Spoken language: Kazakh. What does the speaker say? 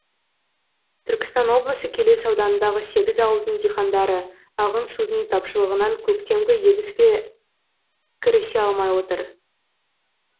түркістан облысы келес ауданындағы сегіз ауылдың диқандары ағын судың тапшылығынан көктемгі егіске кірісе алмай отыр